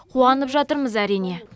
қуанып жатырмыз әрине